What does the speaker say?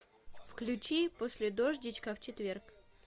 включи после дождичка в четверг